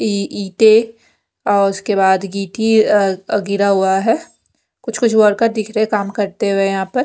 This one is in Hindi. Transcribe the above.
ये ईंटें और उसके बाद अ गिरा हुआ है कुछ कुछ वर्कर दिख रहे हैं काम करते हुए यहाँ पर--